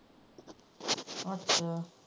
ਅੱਛਾ।